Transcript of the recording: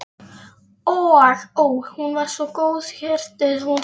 Ó, hún var svo góðhjörtuð hún Sonja.